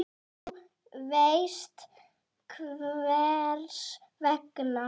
Þú veist hvers vegna.